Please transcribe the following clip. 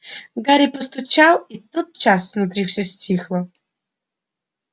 гарри постучал и тотчас внутри всё стихло